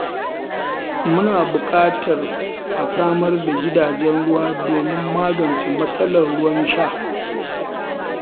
Muna buƙatar a samar da gidajen ruwa domin magance matsalar ruwan sha.